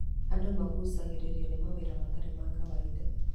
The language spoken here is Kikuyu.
Andũ maguucagĩrĩrio nĩ mawĩra matarĩ ma kawaida.